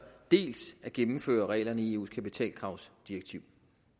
dels at gennemføre reglerne i eus kapitalkravsdirektiv